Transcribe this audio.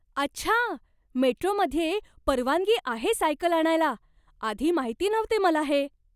अच्छा! मेट्रोमध्ये परवानगी आहे सायकल आणायला. आधी माहिती नव्हते मला हे.